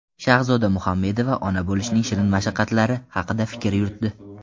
Shahzoda Muhammedova ona bo‘lishning shirin mashaqqatlari haqida fikr yuritdi.